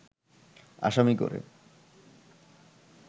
আসামি করে